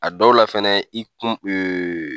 A dɔw la fɛnɛ i kun